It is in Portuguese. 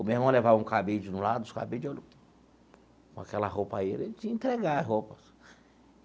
O meu irmão levava um cabide de um lado, os cabides de outro... Com aquela roupa aí, ele tinha que entregar roupas.